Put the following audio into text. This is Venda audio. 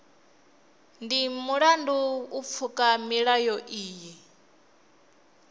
ndi mulandu u pfuka milayo iyi